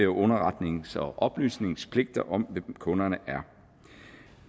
underretnings og oplysningspligt om hvem kunderne er